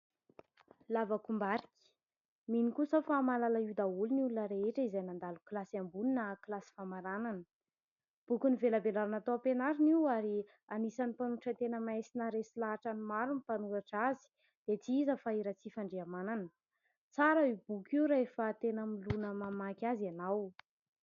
Lavakombarika : mino kosa aho fa mahalala io daholo ny olona rehetra izay nandalo kilasy ambony na kilasy famaranana. Boky novelambelarina tao am-pianarana io ary anisan'ny mpanoratra tena mahay sy naharesy lahatra ny maro ny mpanoratra azy dia tsy iza fa i Ratsifandrihamanana. Tsara io boky io rehefa tena milona mamaky azy ianao.